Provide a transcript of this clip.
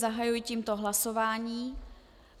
Zahajuji tímto hlasování.